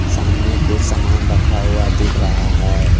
सामने कुछ सामान रखा हुआ दिख रहा है।